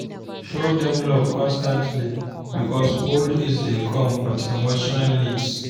Show dem love constantly, because old age dey come with emotional need.